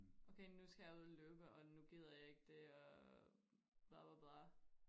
Okay nu skal jeg ud og løbe og nu gider jeg ikke det og bla bla bla